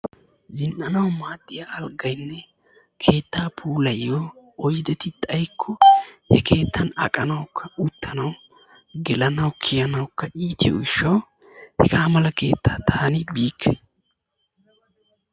Zin"anawu maaddiyaa alggaynne keettaa puulayiyo oyddeti xaaykko he keettan aqanawukka uttanawu geelanawu kiyanawukka iitiyoo giishshawu hegaa mala keettaa taani biikke.